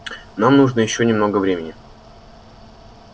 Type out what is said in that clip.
нам нужно ещё немного времени